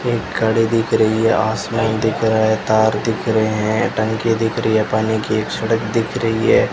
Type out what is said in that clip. एक गाड़ी दिख रही है आसमान दिख रहा है तार दिख रहे हैं टंकी दिख रही है पानी की एक सड़क दिख रही है।